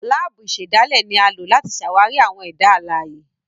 Laabu ìsèdálè ni a lo láti ṣàwarí àwọn ẹda alãye.